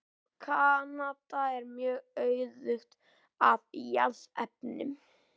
Kanada er mjög auðugt af jarðefnum.